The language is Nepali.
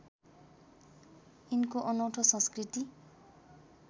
यिनको अनौँठो संस्कृति